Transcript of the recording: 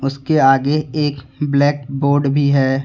उसके आगे एक ब्लैक बोर्ड भी है।